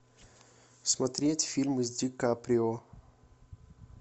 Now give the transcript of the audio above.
смотреть фильмы с ди каприо